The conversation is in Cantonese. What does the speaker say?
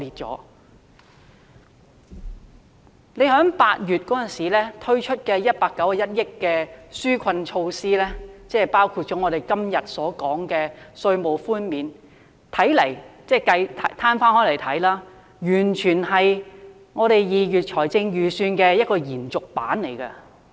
當局在8月推出涉款191億元的紓困措施，包括我們今天審議的法案，攤開來看，它完全是2月財政預算案的延續。